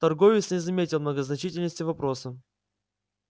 торговец не заметил многозначительности вопроса